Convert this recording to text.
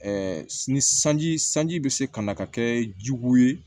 ni sanji sanji bɛ se ka na ka kɛ jugu ye